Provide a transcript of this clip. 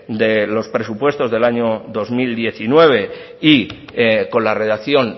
de los presupuestos del año dos mil diecinueve y con la redacción